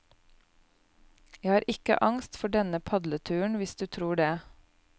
Jeg har ikke angst for denne padleturen, hvis du tror det.